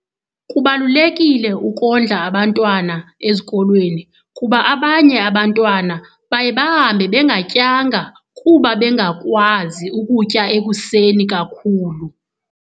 Kubalulekile ukondla abantwana ezikolweni kuba abanye abantwana baye bahambe bengatyanga kuba bengakwazi ukutya ekuseni kakhulu.